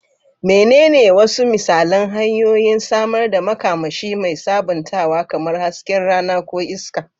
Menene wasu misalan hanyoyin samar da makamashi mai sabuntawa, kamar hasken rana ko iska?